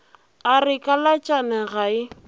a re kalatšane ga e